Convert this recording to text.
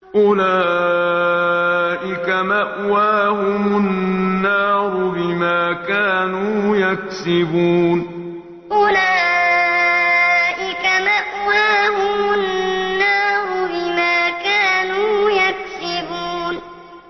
أُولَٰئِكَ مَأْوَاهُمُ النَّارُ بِمَا كَانُوا يَكْسِبُونَ أُولَٰئِكَ مَأْوَاهُمُ النَّارُ بِمَا كَانُوا يَكْسِبُونَ